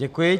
Děkuji.